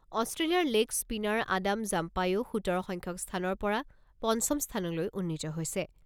অষ্টেলিয়াৰ leg spinner Adam জাম্পায়ো সোতৰ সংখ্যক স্থানৰ পৰা পঞ্চম স্থানলৈ উন্নীত হৈছে।